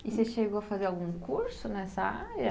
E você chegou a fazer algum curso nessa área?